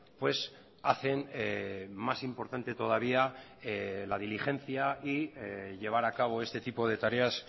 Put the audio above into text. pues hacen más importante todavía la diligencia y llevar a cabo este tipo de tareas